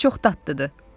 Onlar çox dadlıdır."